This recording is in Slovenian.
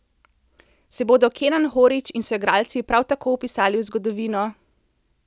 Se bodo Kenan Horić in soigralci prav tako vpisali v zgodovino?